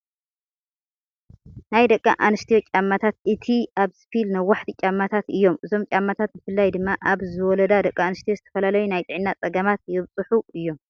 ናይ ደቂ ኣንስትዮ ጫማታት እቲ ሓደ ስፒል (ነዋሕቲ ) ጫማታት እዩም። እዞም ጫማታት ብፍላይ ድማ ኣብ ዝወለዳ ደቂ አንስትዮ ዝተፈላለዩ ናይ ጥዕና ፀገማት የብፅሑ እዮም።